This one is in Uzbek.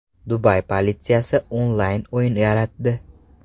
Dubay politsiyasi onlayn o‘yin yaratdi.